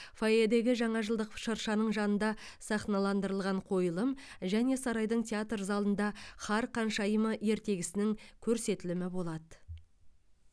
фойедегі жаңа жылдық шыршаның жанында сахналандырылған қойылым және сарайдың театр залында қар ханшайымы ертегісінің көрсетілімі болады